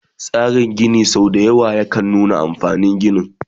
Tsarin Gini sau dayawa yakan nuna amfanin ginin